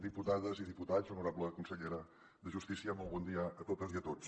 diputades i diputats honorable consellera de justícia molt bon dia a totes i a tots